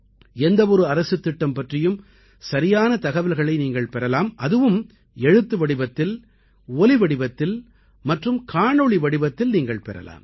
எந்த ஒரு அரசுத் திட்டம் பற்றியும் சரியான தகவல்களை நீங்கள் பெறலாம் அதுவும் எழுத்து வடிவத்தில் ஒலி வடிவத்தில் மற்றும் காணொளி வடிவத்தில் நீங்கள் பெறலாம்